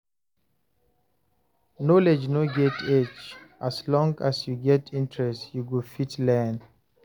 Knowledge no get age; as long as you get interest, you go fit learn.